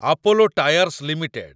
Apollo Tyres limited